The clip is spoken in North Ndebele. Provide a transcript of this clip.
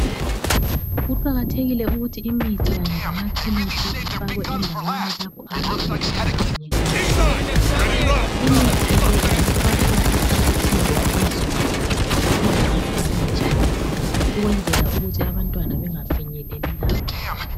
Kuqakathekile ukuthi imithi kanye lamaphilisi ifakwe endaweni lapho abantwana abangafinyeleli khona. Imithi le ingafakwa ekhabothini phezulu kuphinde kuvalwe njalo ukwenzela ukuthi abantwana bengafinyeleli lapho.